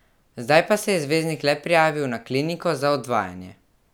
Zdaj pa se je zvezdnik le prijavil na kliniko za odvajanje.